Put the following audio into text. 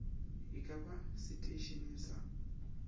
e ka ba seteišeneng sa